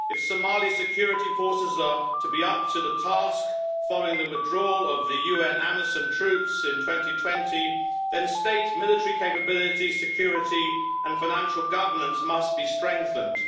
If Somali security forces are to be up to the task following the withdrawal of the UN Amisom troops in 2020, then state military capability, security and financial governance must be strengthened.